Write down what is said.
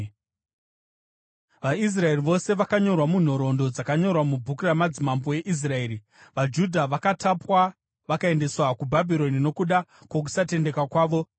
VaIsraeri vose vakanyorwa munhoroondo dzakanyorwa mubhuku ramadzimambo eIsraeri. Vanhu vaigara muJerusarema VaJudha vakatapwa vakaendeswa kuBhabhironi nokuda kwokusatendeka kwavo.